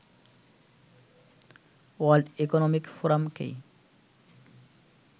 world economic ফোরামকেই